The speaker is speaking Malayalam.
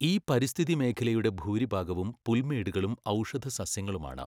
ഈ പരിസ്ഥിതിമേഖലയുടെ ഭൂരിഭാഗവും പുൽമേടുകളും ഔഷധസസ്യങ്ങളുമാണ്.